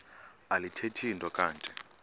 alithethi nto kanti